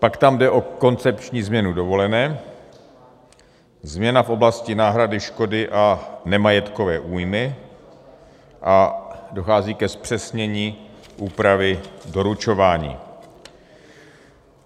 Pak tam jde o koncepční změnu dovolené, změna v oblasti náhrady škody a nemajetkové újmy a dochází ke zpřesnění úpravy doručování.